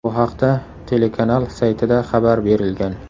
Bu haqda telekanal saytida xabar berilgan .